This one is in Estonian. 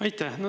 Aitäh!